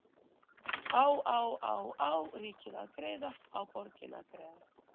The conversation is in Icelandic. Á á á á ríkið að greiða, á borgin að greiða?